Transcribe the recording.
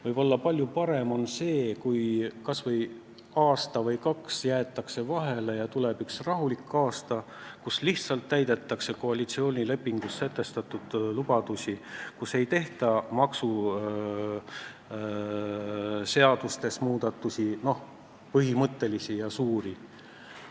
Võib-olla on palju parem see, kui kas aasta või kaks jäetakse vahele ja tuleb üks rahulik aasta, kui lihtsalt täidetakse koalitsioonilepingus sätestatud lubadusi, ei tehta põhimõttelisi ega suuri muudatusi maksuseadustes.